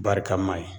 Barika ma ye